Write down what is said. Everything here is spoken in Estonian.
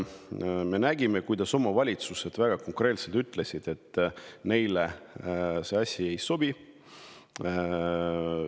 Omavalitsused ütlesid väga konkreetselt, et neile see asi ei sobi.